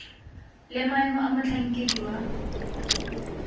le maemo a motlhankedi wa